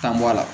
Tan bɔ a la